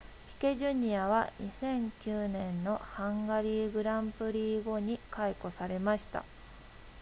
ピケ jr. は2009年のハンガリー gp 後に解雇されました